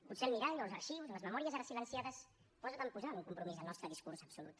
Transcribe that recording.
potser el mirall o els arxius o les memòries ara silenciades poden posar en un compromís el nostre discurs absolut